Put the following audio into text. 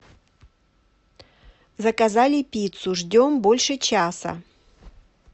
заказали пиццу ждем больше часа